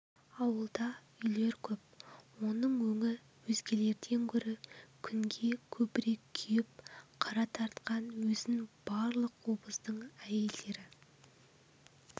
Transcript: ауылда үйлер көп оның өңі өзгелерден гөрі күнге көбірек күйіп қара тартқан өзін барлық обоздың әйелдері